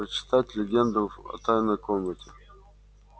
прочитать легенду о тайной комнате